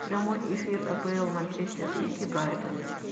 прямой эфир апл манчестер сити брайтон